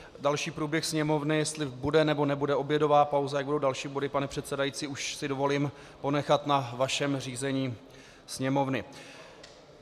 Další průběh sněmovny, jestli bude, nebo nebude obědová pauza, jak budou další body, pane předsedající, už si dovolím ponechat na vašem řízení sněmovny.